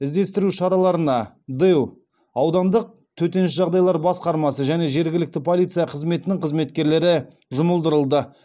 іздестіру шараларына дэу аудандық төтенше жағдайлар басқармасы және жергілікті полиция қызметінің қызметкерлері жұмылдырылды